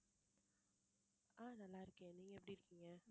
ஆஹ் நல்லா இருக்கேன் நீங்க எப்படி இருக்கீங்க